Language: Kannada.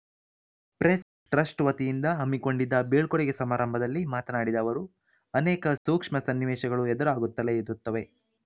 ಪ್ರೆಸ್‌ ಟ್ರಸ್ಟ್‌ ವತಿಯಿಂದ ಹಮ್ಮಿಕೊಂಡಿದ್ದ ಬೀಳ್ಕೊಡುಗೆ ಸಮಾರಂಭದಲ್ಲಿ ಮಾತನಾಡಿದ ಅವರು ಅನೇಕ ಸೂಕ್ಷ್ಮ ಸನ್ನಿವೇಶಗಳು ಎದುರಾಗುತ್ತಲೇ ಇರುತ್ತವೆ